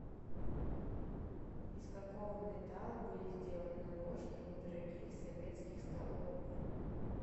из какого металла были сделаны ложки в недорогих советских столовых